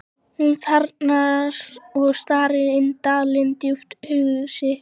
Hún þagnar og starir inn dalinn, djúpt hugsi.